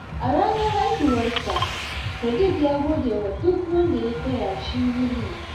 A ranar haihuwarsa, Sadiq ya gode wa duk wanda ya taya shi murna.